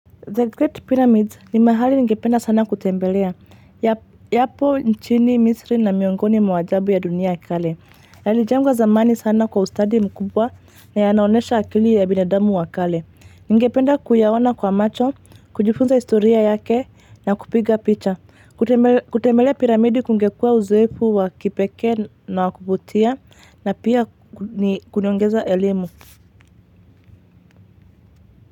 The Great Pyramids ni mahali ngependa sana kutembelea, yapo nchini, misri na miongoni mwajabu ya dunia wakale. Yalijengwa zamani sana kwa ustadi mkubwa na yanaonesha akili ya binadamu wakale. Ningependa kuyaona kwa macho, kujifunza historia yake na kupiga picha. Kutemelea pyramidi kungekua uzoefu wakipekee na wakuvutia na pia kunaongeza elimu.